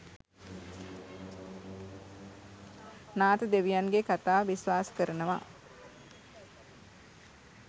නාථ දෙවියන්ගේ කතාව විස්වාස කරනව.